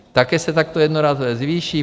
Také se takto jednorázově zvýší.